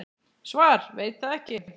Svar: Veit það ekki.